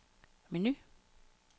menu